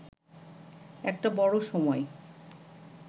একটা বড়ো সময়ই